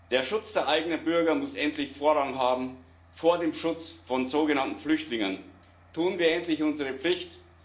Der Schutz der eigenen Bürger muss endlich Vorrang haben vor dem Schutz von sogenannten Flüchtlingen. Tun wir endlich unsere Pflicht!